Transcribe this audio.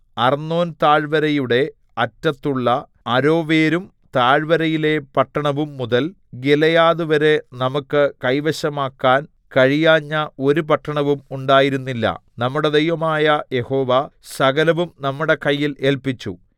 അർന്നോൻതാഴ്വരയുടെ അറ്റത്തുള്ള അരോവേരും താഴ്വരയിലെ പട്ടണവും മുതൽ ഗിലെയാദ് വരെ നമുക്ക് കൈവശമാക്കാൻ കഴിയാഞ്ഞ ഒരു പട്ടണവും ഉണ്ടായിരുന്നില്ല നമ്മുടെ ദൈവമായ യഹോവ സകലവും നമ്മുടെ കയ്യിൽ ഏല്പിച്ചു